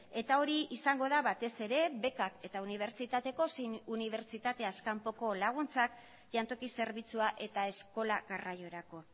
eta hori izango da batez ere bekak eta unibertsitateko zein unibertsitateaz kanpoko laguntzak jantoki zerbitzua eta eskola garraiorako